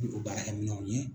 N'o baarakɛminɛw ye.